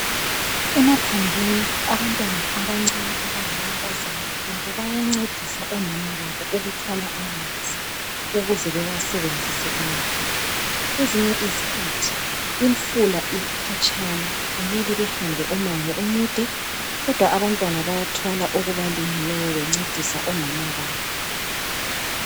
Emaphandleni abantwana abancane abangamankazana labo bayancedisa omama babo ukuthwala amanzi ukuze bewasebenzise emakhaya kwezinye izikhathi imfula ikhatshana kumele behambe umango omude kodwa abantwana bayathwala okubalingeneyo bencedisa omama babo